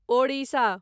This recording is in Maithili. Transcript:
ओडिशा